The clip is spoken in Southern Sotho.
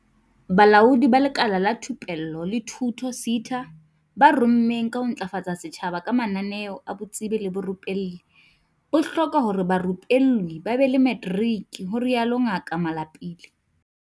"Bolaodi ba Lekala la Thupello le Thuto, SETA, bo rongweng ka ho ntlafatsa setjhaba ka mananeo a botsebi le borupelli, bo hloka hore barupellwi ba be le materiki," ho rialo Ngaka Malapile.